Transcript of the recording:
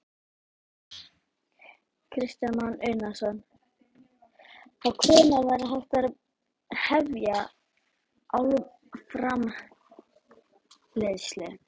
Kristján Már Unnarsson: Þá hvenær væri hægt að hefja álframleiðslu?